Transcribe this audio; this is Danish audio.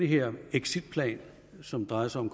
her exitplan som drejer sig om